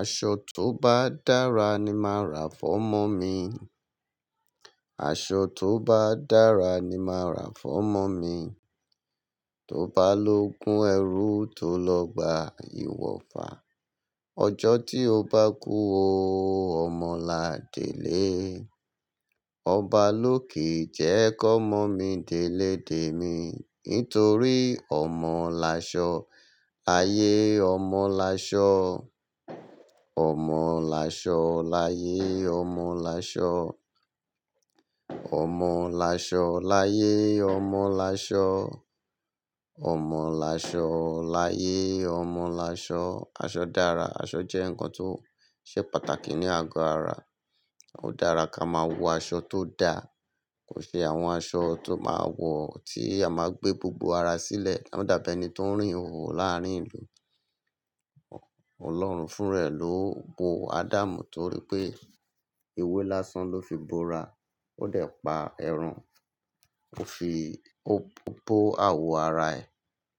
Aṣọ tó bá dára ni máa ra fọ́mọ mi. Aṣọ tó bá dára ni máa ra fọ́mọ mi. Tó bá lógun ẹrú, tó lọ gbá ìwọ̀fà. Ọjọ́ tí o bá kú ó, ọmọ là dé'lé. Ọba lóke e jẹ́ kómọ mi, dèlé dè mí. Nítorí ọmọ laṣọ ayé, ọmọ laṣọ. Ọmọ là ṣọ láyé, ọmọ là ṣọ. Ọmọ là ṣọ láyé, ọmọ là ṣọ. Ọmọ là ṣọ láyé, ọmọ là ṣọ. Aṣọ dára. Aṣọ jẹ́ ǹkan tó ṣe pàtàkì ní àgọ ara. Ó dára ká máa wọ aṣọ tó da. Kò ṣe àwọn aṣọ tó máa wọ̀ tí a máa gbé gbogbo ara sílẹ̀. Won dàbí ẹni tó ń rìn ihóhò láàárín ìlú. Ọlọ́run fún rẹ̀ ló bo Adamu torí pé ewé lásán ló fi bora. Ó dẹ̀ pa ẹran, ó fi bo àwo ara ẹ̀.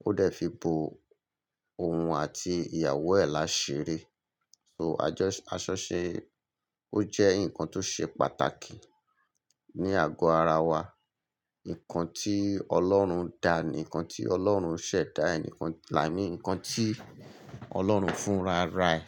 Ó dẹ̀ fi bo òun àti ìyàwó ẹ̀ láṣere. So aṣọ ṣe, ó jẹ́ ǹkan tó ṣe pàtàkì ní àgọ́ ara wa. Ǹkan tí Ọlọ́run dáa ni, ǹkan tí Ọlọ́run ṣẹ̀ dá ẹ ni, i mean ǹkan tí Ọlọ́run fúnra rà ẹ.